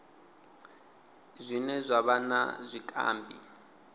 zwine zwa vha na zwikambi